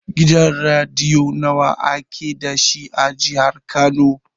Gidan rediyo nawa ake dashi a jihar kano?